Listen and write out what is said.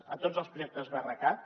a tots els projectes brcat